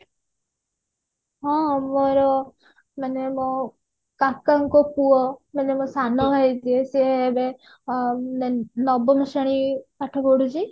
ହଁ ମୋର ମାନେ ମୋ କାକା ଙ୍କ ପୁଅ ମାନେ ମୋ ସାନ ଭାଇ ଯିଏ ସେ ଏବେ ଅ ନ ନବମ ଶ୍ରେଣୀରେ ପାଠ ପଢୁଛି